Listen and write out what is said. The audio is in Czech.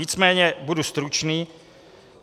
Nicméně budu stručný.